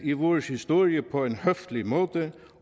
i vores historie på en høflig måde